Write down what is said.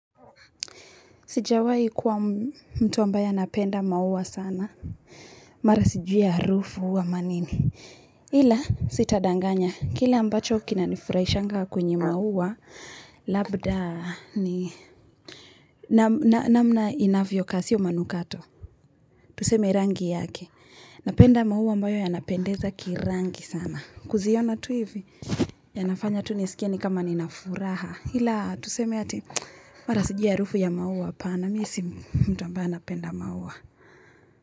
Sijawai kuwa mtu ambaye anapenda maua sana. Mara sijui harufu ama nini. Ila sitadanganya. Kile ambacho kina nifurahishanga kwenye maua. Labda ni namna inavyokaa sio manukato. Tuseme rangi yake. Napenda maua ambayo yanapendeza kirangi sana. Kuziona tu hivi. Yanafanya tu nisikie ni kama nina furaha. Ila tuseme ati mara siju harufu ya maua hapana. Na mi si mtu ambaye anapenda maua.